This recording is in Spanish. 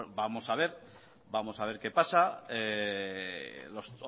vamos a ver qué pasa los